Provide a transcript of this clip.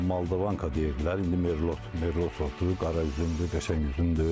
Moldavanka deyirlər, indi Merlo, Merlo sortdur, qara üzümdür, qəşəng üzümdür.